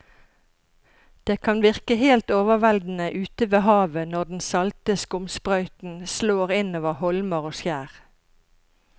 Det kan virke helt overveldende ute ved havet når den salte skumsprøyten slår innover holmer og skjær.